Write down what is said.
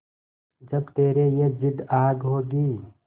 जब तेरी ये जिद्द आग होगी